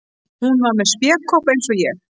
Hún var með spékopp eins og ég.